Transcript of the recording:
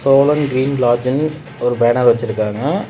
Cholan green லாட்ஜுன் ஒரு banner வெச்சிருக்காங்க.